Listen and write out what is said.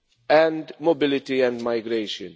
and mobility and migration.